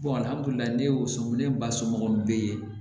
ne y'o somin ne ba somɔgɔw be ye